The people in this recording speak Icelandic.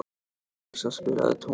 Marsa, spilaðu tónlist.